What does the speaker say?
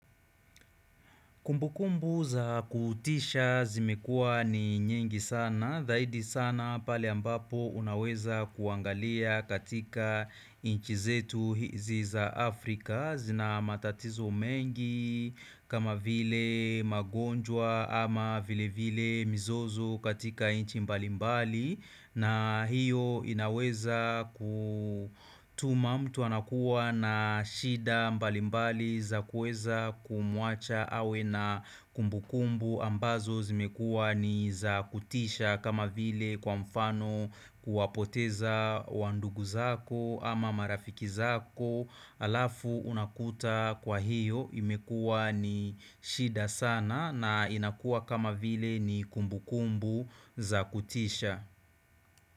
Kumbukumbu za kutisha zimekua ni nyingi sana, dhaidi sana pale ambapo unaweza kuangalia katika inchi zetu hizi za Afrika zina matatizo mengi kama vile magonjwa ama vile vile mizozo katika inchi mbalimbali na hiyo inaweza kutuma mtu anakuwa na shida mbalimbali za kueza kumuacha awe na kumbu kumbu ambazo zimekua ni za kutisha kama vile kwa mfano kuapoteza wandugu zako ama marafiki zako alafu unakuta kwa hiyo imekua ni shida sana na inakua kama vile ni kumbu kumbu za kutisha.